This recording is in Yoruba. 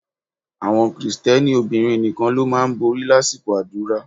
Àwọn Krìsìtẹ́nì obìnrin nìkan ló máa ń borí lásìkò àdúrà